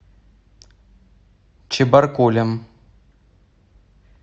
чебаркулем